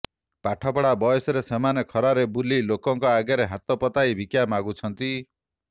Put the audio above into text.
ପାଠପଢ଼ା ବୟସରେ ସେମାନେ ଖରାରେ ବୁଲି ଲୋକଙ୍କ ଆଗରେ ହାତ ପତାଇ ଭିକ୍ଷା ମାଗୁଛନ୍ତି